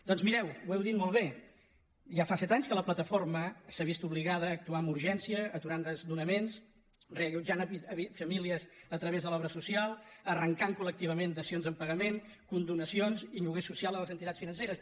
doncs mireu ho heu dit molt bé ja fa set anys que la plataforma s’ha vist obligada a actuar amb urgència aturant desnonaments reallotjant famílies a través de l’obra social arrencant colons en pagament condonacions i lloguer social a les entitats financeres